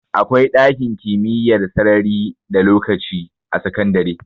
Akwai ɗakin kimiyyar sarari da lokaci a sakandare